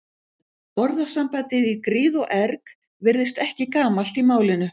Orðasambandið í gríð og erg virðist ekki gamalt í málinu.